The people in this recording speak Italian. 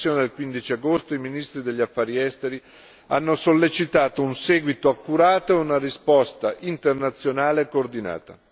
Nella sessione del 15 agosto, i ministri degli Affari esteri hanno sollecitato un seguito accurato e una risposta internazionale coordinata.